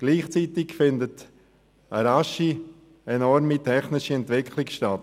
Gleichzeitig findet eine rasche, enorme technische Entwicklung statt.